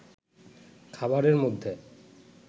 খাবারের মধ্যে